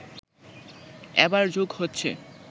এবার যোগ হচ্ছে